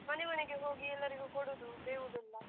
ಮನೆ ಮನೆಗೆ ಹೋಗಿ ಎಲ್ಲರಿಗೂ ಕೊಡುವುದು, ಬೇವು ಬೆಲ್ಲ.